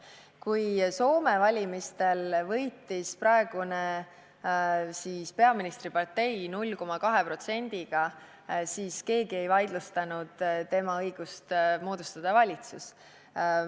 Kui Soome valimistel võitis praegune peaministri partei 0,2%-ga, siis keegi ei vaidlustanud tema õigust moodustada valitsus.